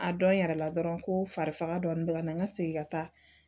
A dɔn yɛrɛ la dɔrɔn ko fari faga dɔɔnin bɛ ka na n ka segin ka taa